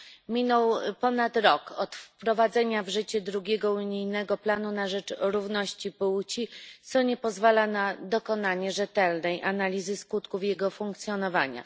Minął ponad rok od wprowadzenia w życie drugiego unijnego planu na rzecz równości płci, co nie pozwala na dokonanie rzetelnej analizy skutków jego funkcjonowania.